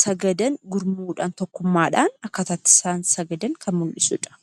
sagadan gurmuudhaan yookaan tokkummaadhaan sagadan kan mul'isudha.